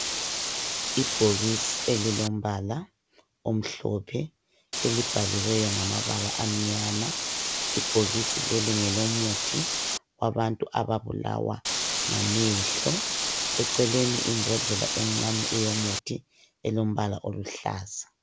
Ibhokisi elliombala omhlophe elibhaliweyo ngamabala amnyama .Ibhokisi leli ngelomuthi wabantu ababulawa ngamehlo .Eceleni imbodlela encane eyomuthi elombala oluhlaza .